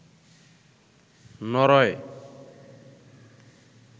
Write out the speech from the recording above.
Norway